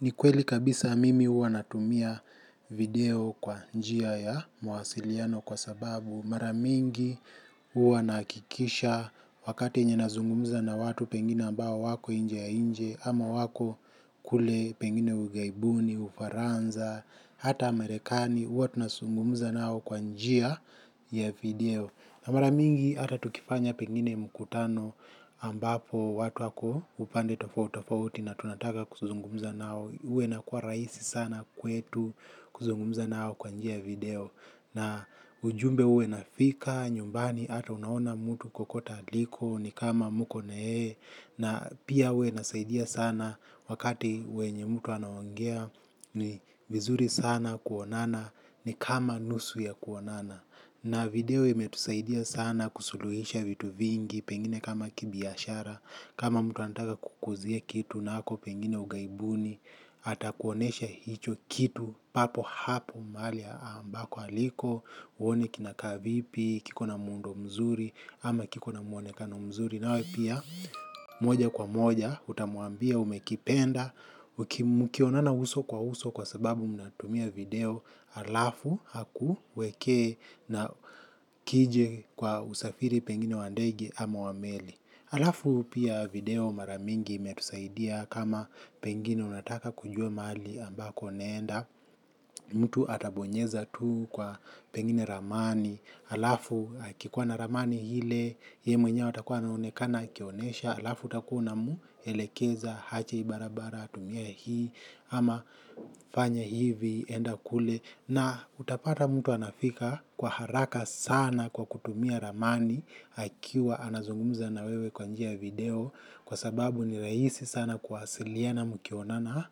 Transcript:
Ni kweli kabisa mimi huwa natumia video kwa njia ya mawasiliano kwa sababu, maramingi huwa nahakikisha wakati yenye nazungumza na watu pengine ambao wako nchi ya nje, ama wako kule pengine ughaibuni, ufaransa na hata marekani huwa tunazungumza nao kwa njia ya video. Na maramingi hata tukifanya pengine mkutano, ambapo watu wako upande tofauti tofauti na tunataka kuzungumza nao, huwa inakua rahisi sana kwetu kuzungumza nao kwa njia ya video. Na ujumbe huwa unafika nyumbani hata unaona mtu kokota aliko ni kama mko na yeye. Na pia huwa inasaidia sana wakati wenye mtu anaongea ni vizuri sana kuonana. Ni kama nusu ya kuonana. Na video imetusaidia sana kusuluhisha vitu vingi pengine kama kibiashara, kama mtu anataka kukuuzia kitu na ako pengine ughaibuni. Atakuonyesha hicho kitu papo hapo mahali ambako aliko, uone kinakaa vipi, kikona muundo mzuri ama kikona muonekano mzuri. Nawe pia, moja kwa moja utamwambia umekipenda. Mkionana uso kwa uso kwa sababu mnatumia video halafu akuwekee. Na kije kwa usafiri pengine wa ndege ama wa meli. Halafu pia video mara mingi imetusaidia kama pengine unataka kujua mahali ambako unaenda, mtu atabonyeza tu kwa pengine ramani. Halafu akikuwa na ramani ile, yeye mwenyewe atakuwa anaonekana akionyesha, halafu utakuwa unamuelekeza aje hii barabara, atumie hii, ama fanya hivi, enda kule. Na utapata mtu anafika kwa haraka sana kwa kutumia ramani, akiwa anazungumza na wewe kwa njia ya video, kwa sababu ni rahisi sana kuwasiliana mkionana.